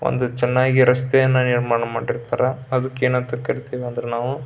ಒಂದು ಚೆನ್ನಾಗಿ ರಸ್ತೆಯನ್ನು ನಿರ್ಮಾಣ ಮಾಡಿರ್ತಾರೆ. ಅದಕ್ಕೆ ಏನ್ ಅಂತ ಕರೀತೀವಿ ಅಂದ್ರ ನಾವು --